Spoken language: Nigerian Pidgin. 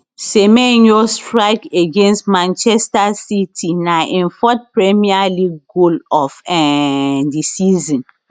semenyo strike against manchester city na im fourth premier league goal of um di season